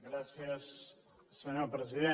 gràcies senyor president